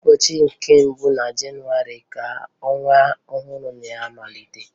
Ụbọchị nke mbụ na Jenuwarị ka ọnwa ọhụrụ na-amalite